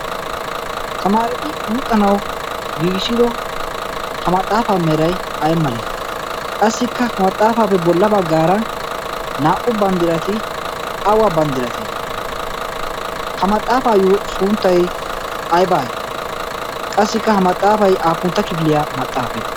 samaareti luxanawu giigissido ha maxaafaa merai ay malee qassikka ha maxaafaappe bolla baggaara naa'u banddirati awa banddiratee ha maxaafaayyo suunttai ai baai qassikka ha maxaafai aapuntta kibiliyaa maxaafe?